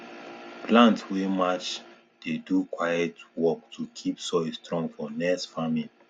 plant wey match dey do quiet work to keep soil strong for next farming